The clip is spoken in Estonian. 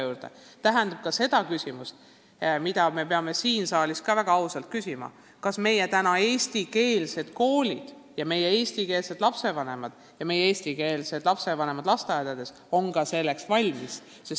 Aga see tõstatab ka küsimuse, millele me peame siingi saalis väga ausalt vastama: kas meie eestikeelsed koolid ja meie eestlastest lapsevanemad lasteaedades on täna selleks valmis?